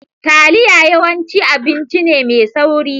Taliya yawanci abinci ne mai sauri.